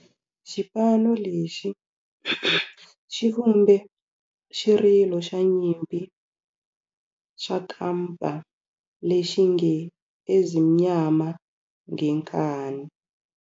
Xipano lexi xi vumbe xirilo xa nyimpi xa kampa lexi nge 'Ezimnyama Ngenkani'.